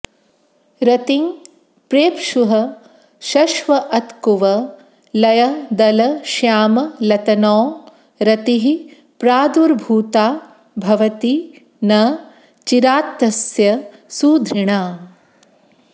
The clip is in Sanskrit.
रतिं प्रेप्सुः शश्वत्कुवलयदलश्यामलतनौ रतिः प्रादुर्भूता भवति न चिरात्तस्य सुदृढा